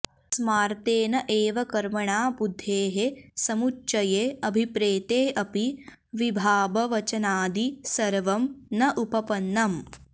स्मार्तेन एव कर्मणा बुद्धेः समुच्चये अभिप्रेते अपि विभाबवचनादि सर्वं न उपपन्नम्